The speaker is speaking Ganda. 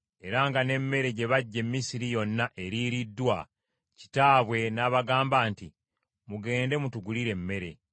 era nga ne mmere gye baggya e Misiri yonna eriiriddwa, kitaabwe n’abagamba nti mugende mutugulire emmere.